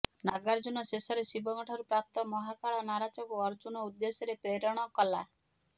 ନାଗାର୍ଜୁନ ଶେଷରେ ଶିବଙ୍କ ଠାରୁ ପ୍ରାପ୍ତ ମହାକାଳ ନାରାଚକୁ ଅର୍ଜୁନ ଉଦ୍ଦେଶ୍ୟରେ ପ୍ରେରଣ କଲା